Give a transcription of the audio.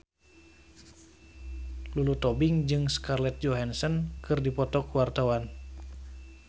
Lulu Tobing jeung Scarlett Johansson keur dipoto ku wartawan